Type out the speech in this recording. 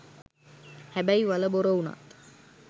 හැබැයි වළ බොර වුණත්